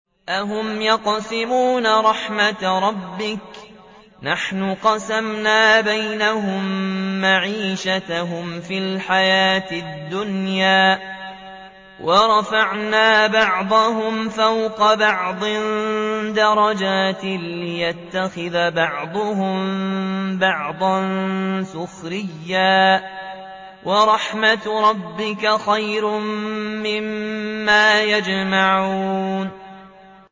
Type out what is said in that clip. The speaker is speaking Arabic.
أَهُمْ يَقْسِمُونَ رَحْمَتَ رَبِّكَ ۚ نَحْنُ قَسَمْنَا بَيْنَهُم مَّعِيشَتَهُمْ فِي الْحَيَاةِ الدُّنْيَا ۚ وَرَفَعْنَا بَعْضَهُمْ فَوْقَ بَعْضٍ دَرَجَاتٍ لِّيَتَّخِذَ بَعْضُهُم بَعْضًا سُخْرِيًّا ۗ وَرَحْمَتُ رَبِّكَ خَيْرٌ مِّمَّا يَجْمَعُونَ